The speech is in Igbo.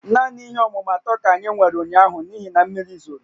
Naanị ihe ọmụmụ atọ ka anyị nwere ụnyaahụ n'ihi na mmiri zoro